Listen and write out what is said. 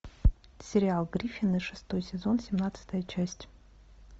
сериал гриффины шестой сезон семнадцатая часть